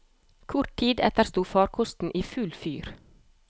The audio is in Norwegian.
Kort tid etter sto farkosten i full fyr.